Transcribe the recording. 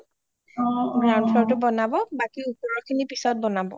ground floor টো বনাব বাকি ওপৰৰ খিনি পিছত বনাব